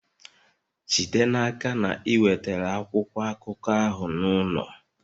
Jide n'aka na ị wetara akwụkwọ akụkọ ahụ n'ụlọ!